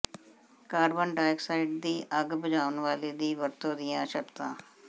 carbon dioxide ਦੀ ਅੱਗ ਬੁਝਾਉਣ ਵਾਲੇ ਦੀ ਵਰਤੋਂ ਦੀਆਂ ਸ਼ਰਤਾਂ